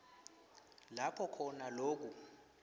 lapho khona loku